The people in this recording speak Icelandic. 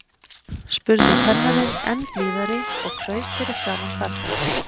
spurði kennarinn enn blíðari og kraup fyrir framan barnið.